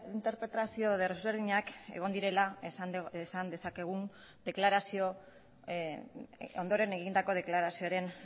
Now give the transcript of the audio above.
interpretazio desberdinak egon direla esan dezakegu ondoren egindako deklarazioen